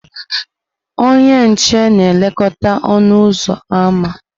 ọnye nche na-elekọta ọnụ ụzọ ámá.